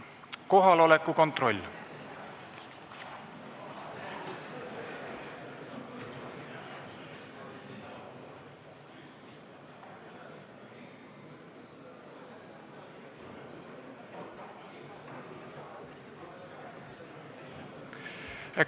Kohaloleku kontroll.